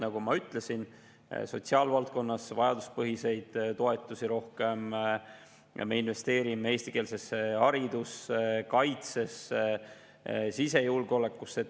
Nagu ma ütlesin, sotsiaalvaldkonnas rohkem vajaduspõhiseid toetusi ja me investeerime eestikeelsesse haridusse ning kaitsesse ja sisejulgeolekusse.